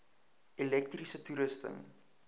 elektriese toerusting